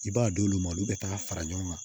I b'a d'olu ma olu bɛ taga fara ɲɔgɔn kan